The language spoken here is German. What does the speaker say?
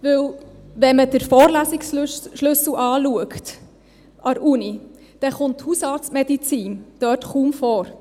Denn wenn man den Vorlesungsschlüssel der Uni anschaut, kommt die Hausarztmedizin dort kaum vor.